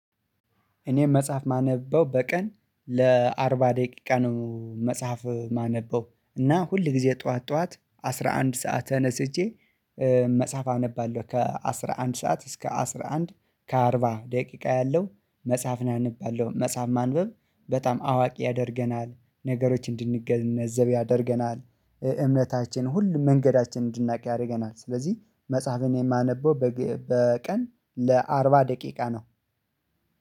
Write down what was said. እኔም መጽሐፍ ማነበው በቀን ለአርባ ደቂቃ ነው መጽሐፍ ማነበው እና ሁል ጊዜ ጠዋት ጠዋት አስራ አንድ ሰዓት ተነስቼ መጽሐፍ አነባለሁ። ከአስራ አንድ ሰዓት እስከ አስራ አንድ ከአርባ ደቂቃ ያለው መጽሐፍን አንባለው። መጽሐፍ ማንበብ በጣም አዋቂ ያደርገናል ነገሮች እንድንገነዘብ ያደርገናል እምነታችን ሁሉም መንገዳችን እንድናቅ ያደርገናል። ስለዚህ መጽሐፍን የማነበው በቀን ለአርባ ደቂቃ ነው።